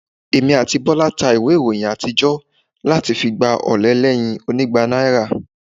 Èmi àti Bọ́lá ta ìwé ìròyìn àtijọ́ láti fi gba ọ̀ọ̀lẹ̀ ẹlẹ́yin onígba náírà